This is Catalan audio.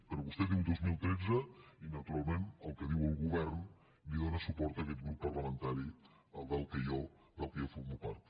però vostè diu el dos mil tretze i naturalment al que diu el govern li dóna suport aquest grup parlamentari del qual jo formo part